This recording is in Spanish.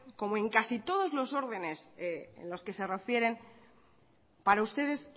como en casi todos los órdenes en los que se refieren para ustedes